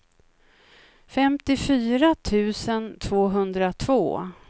femtiofyra tusen tvåhundratvå